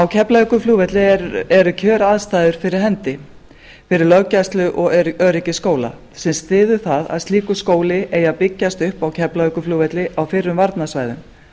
keflavíkurflugvelli eru kjöraðstæður fyrir hendi fyrir löggæslu og öryggisskóla sem styður það að slíkur skóli eigi að byggjast upp á keflavíkurflugvelli á fyrrum varnarsvæðum